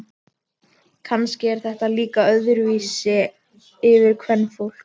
Kannski er þetta líka öðruvísi fyrir kvenfólk.